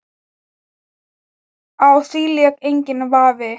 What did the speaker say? Á því lék enginn vafi.